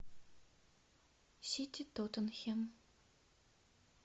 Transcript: сити тоттенхэм